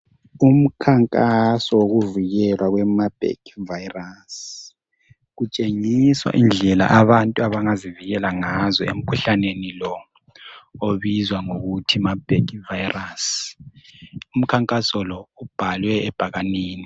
Umkhankaso wokuvikelwa kwe Marburg virus. Kutshengiswa indlela abantu abangazivikela ngazo emkhuhlaneni lo obizwa ngokuthi Marburg virus. Umkhankaso lo ubhalwe ebhakanini.